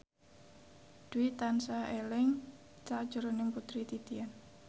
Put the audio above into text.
Dwi tansah eling sakjroning Putri Titian